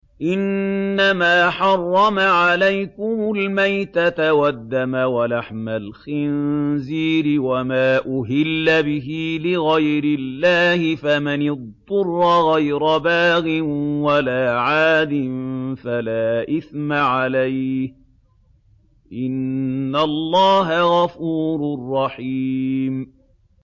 إِنَّمَا حَرَّمَ عَلَيْكُمُ الْمَيْتَةَ وَالدَّمَ وَلَحْمَ الْخِنزِيرِ وَمَا أُهِلَّ بِهِ لِغَيْرِ اللَّهِ ۖ فَمَنِ اضْطُرَّ غَيْرَ بَاغٍ وَلَا عَادٍ فَلَا إِثْمَ عَلَيْهِ ۚ إِنَّ اللَّهَ غَفُورٌ رَّحِيمٌ